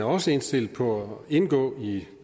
også indstillet på at indgå i